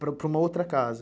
Para uma outra casa?